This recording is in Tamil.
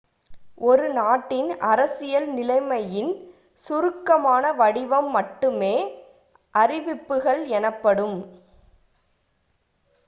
ஒரு நாட்டின் அரசியல் நிலைமையின் சுருக்கமான வடிவம் மட்டுமே அறிவிப்புகள் எனப்படும்